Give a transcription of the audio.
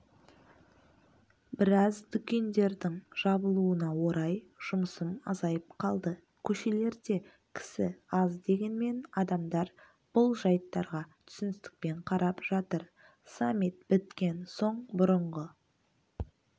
біраз дүкендердің жабылуына орай жұмысым азайып қалды көшелерде кісі аз дегенмен адамдар бұл жайттарға түсіністікпен қарап жатыр саммит біткен соң бұрынғы